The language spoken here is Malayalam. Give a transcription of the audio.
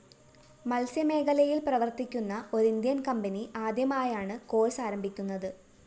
മത്സ്യമേഖലയില്‍ പ്രവര്‍ത്തിക്കുന്ന ഒരിന്ത്യന്‍ കമ്പനി ആദ്യമായാണ് കോർസ്‌ ആരംഭിക്കുന്നത്